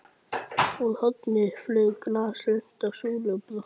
Úr horni flaug glas, lenti á súlu og brotnaði.